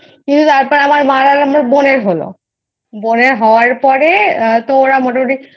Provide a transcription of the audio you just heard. কিন্তু তারপর আমার মায়ের বোনের হলো বোনের হওয়ার পরে তো ওরা মোটামোটি